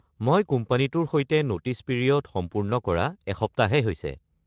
মই কোম্পানীটোৰ সৈতে নোটিছ পিৰিয়ড সম্পূৰ্ণ কৰা এসপ্তাহহে হৈছে।